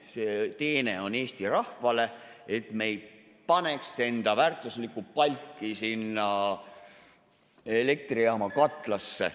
See teene on Eesti rahvale, et me ei paneks enda väärtuslikku palki sinna elektrijaama katlasse.